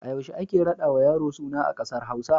A yaushe ake raɗawa yaro suna a ƙasar Hausa?